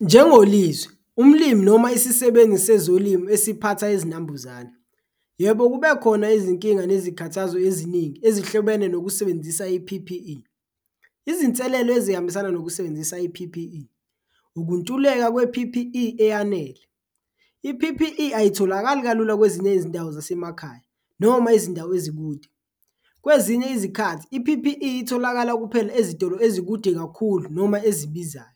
NjengoLizwi umlimi noma isisebenzi sezolimo esiphatha izinambuzane, yebo kube khona izinkinga nezikhathazo eziningi ezihlobene nokusebenzisa i-P_P_E. Izinselelo ezihambisana nokusebenzisa i-P_P_E ukuntuleka kwe-P_P_E eyanele, i-P_P_E ayitholakali kalula kwezinye izindawo zasemakhaya noma izindawo ezikude, kwezinye izikhathi i-P_P_E itholakala kuphela ezitolo ezikude kakhulu noma ezibizayo.